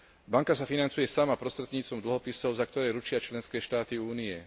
Banka sa financuje sama prostredníctvom dlhopisov, za ktoré ručia členské štáty Únie.